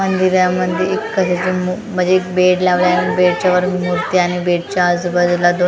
मंदिरामध्ये एक कशाची मु म्हणजे एक बेड लावला आहे बेडच्या वर मूर्ती आणि बेडच्या आजूबाजूला दोन --